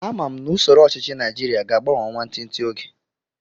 Ama m na usoro ọchichi naijiria ga agbanwe nwantinti oge